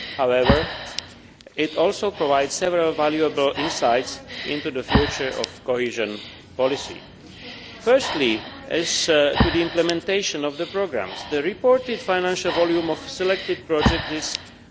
However, it also provides several valuable insights into the future of cohesion policy. Firstly, regarding implementation of the programmes, the reported financial volume of the selected projects is EUR